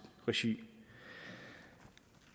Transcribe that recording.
regi